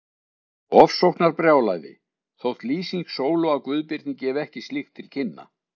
Ofsóknarbrjálæði, þótt lýsing Sólu á Guðbirni gefi ekki slíkt til kynna.